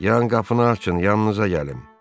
Yarım qapını açın, yanınıza gəlin.